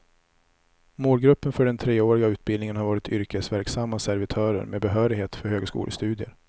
Målgruppen för den treåriga utbildningen har varit yrkesverksamma servitörer med behörighet för högskolestudier.